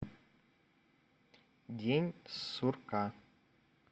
день сурка